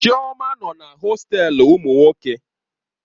Chioma nọ na hostelu ụmụ nwoke.